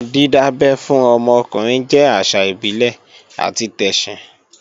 Dídábẹ́ fún ọmọ ọkùnrin jẹ́ àṣà ìbílẹ̀ àti tẹ̀sìn